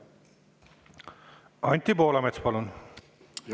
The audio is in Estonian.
Anti Poolamets, palun!